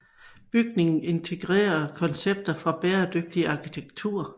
Bygningen integrerer koncepter fra bæredygtig arkitektur